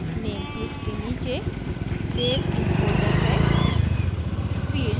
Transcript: name field के नीचे save in folder है